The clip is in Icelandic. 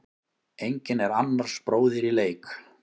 Enginn er annars bróðir í leik.